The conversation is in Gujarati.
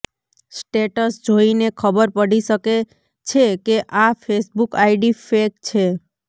સ્ટેટસ જોઇને ખબર પડી શકે છે કે આ ફેસબુક આઇડી ફેક છે